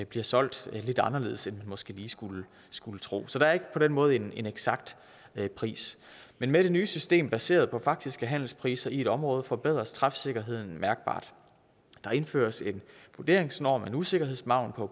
bliver solgt lidt anderledes end måske lige skulle skulle tro så der er ikke på den måde en eksakt pris men med det nye system baseret på faktiske handelspriser i et område forbedres træfsikkerheden mærkbart der indføres en vurderingsnorm en usikkerhedsmargin på